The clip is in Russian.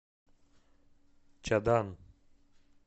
чадан